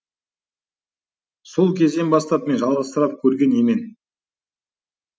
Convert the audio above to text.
сол кезден бастап мен жалғызсырап көрген емен